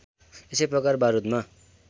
यसै प्रकार बारूदमा